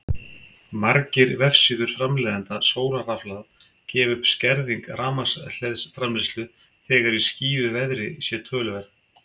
Margir vefsíður framleiðenda sólarrafhlaða gefa upp að skerðing rafmagnsframleiðslu þegar í skýjuðu veðri sé töluverð.